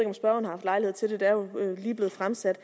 om spørgeren har haft lejlighed til at det er jo lige blevet fremsat